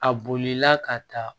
A bolila ka taa